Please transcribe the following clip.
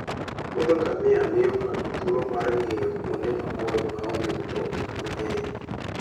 Ngamia miyo ng'ato thuolo mar ng'iyo kuonde maboyo ma onge mtokni mang'eny.